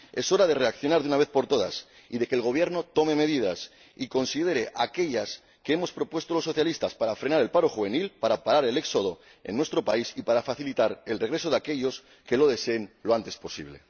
Es hora de reaccionar de una vez por todas y de que el Gobierno tome medidas y considere aquellas que hemos propuesto los socialistas para frenar el paro juvenil, para parar el éxodo en nuestro país y para facilitar el regreso de aquellos que lo deseen lo antes posible.